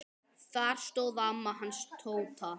Þar stóð amma hans Tóta.